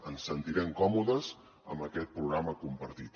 ens sentirem còmodes amb aquest programa compartit